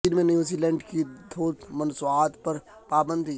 چین میں New Zealand کی دودھ مصنوعات پر پابندی